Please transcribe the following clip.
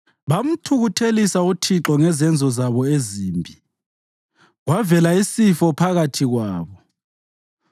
bamthukuthelisa uThixo ngezenzo zabo ezimbi; kwavela isifo phakathi kwabo.